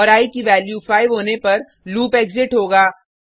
और आई की वैल्यू 5 होने पर लूप एग्जिट होगा